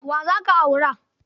Wa za ka aura?